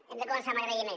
hem de començar amb agraïment